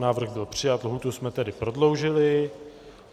Návrh byl přijat, lhůtu jsme tedy prodloužili.